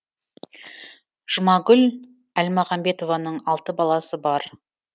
жұмагүл әлмағанбетованың алты баласы бар